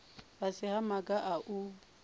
fhasi ha maga a u